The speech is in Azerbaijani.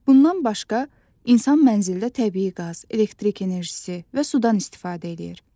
Bundan başqa, insan mənzildə təbii qaz, elektrik enerjisi və sudan istifadə eləyir.